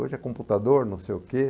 Hoje é computador, não sei o quê.